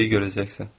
Hər şeyi görəcəksən.